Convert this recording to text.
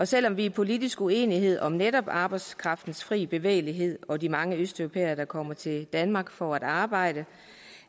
selv om vi er politisk uenige om netop arbejdskraftens fri bevægelighed og de mange østeuropæere der kommer til danmark for at arbejde